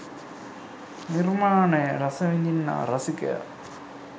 නිර්මාණය රස විඳින්නා රසිකයා